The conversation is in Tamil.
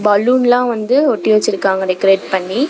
பலூன் லா வந்து ஒட்டி வச்சிருக்காங்க டெக்கரேட் பண்ணி.